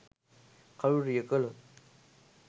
කළුරිය කළොත්